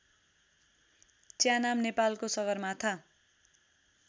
च्यानाम नेपालको सगरमाथा